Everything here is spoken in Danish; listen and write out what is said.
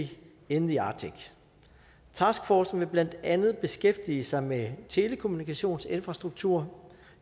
in the arctic taskforcen vil blandt andet beskæftige sig med telekommunikationsinfrastruktur